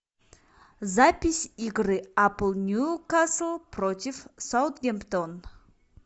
запись игры апл ньюкасл против саутгемптон